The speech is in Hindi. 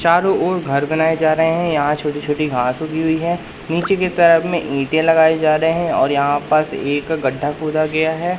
चारों ओर घर बनाए जा रहे हैं यहां छोटी-छोटी घास उगी हुई है नीचे की तरफ में ईंटें लगाए जा रहे हैं और यहां पास एक गड्ढा खोदा गया है।